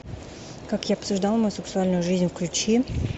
как я обсуждал мою сексуальную жизнь включи